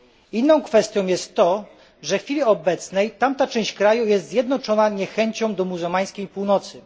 Inną kwestią jest to, że w chwili obecnej tamta część kraju jest zjednoczona niechęcią do muzułmańskiej Północy.